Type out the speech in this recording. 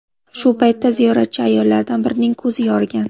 Shu paytda ziyoratchi ayollardan birining ko‘zi yorigan.